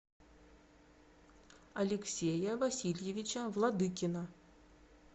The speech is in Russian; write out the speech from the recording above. алексея васильевича владыкина